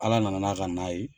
Ala na na n'a ka n'a ye.